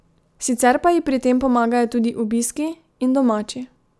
Sicer pa ji pri tem pomagajo tudi obiski in domači.